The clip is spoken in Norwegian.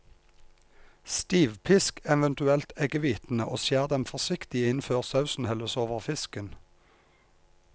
Stivpisk eventuelt eggehvitene og skjær dem forsiktig inn før sausen helles over fisken.